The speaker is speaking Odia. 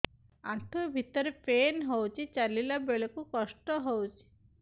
ଆଣ୍ଠୁ ଭିତରେ ପେନ୍ ହଉଚି ଚାଲିଲା ବେଳକୁ କଷ୍ଟ ହଉଚି